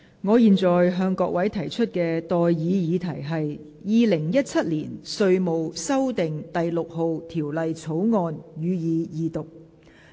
我現在向各位提出的待議議題是：《2017年稅務條例草案》，予以二讀。